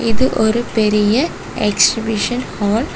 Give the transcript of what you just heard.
இது ஒரு பெரிய எக்ஸ்பிஷன் ஹால் .